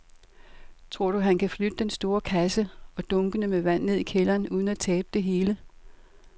Tror du, at han kan flytte den store kasse og dunkene med vand ned i kælderen uden at tabe det hele?